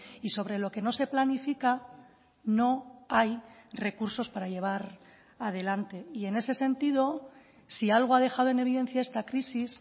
y sobre lo que no se planifica no hay recursos para llevar adelante y en ese sentido si algo ha dejado en evidencia esta crisis